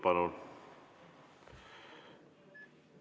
Palun!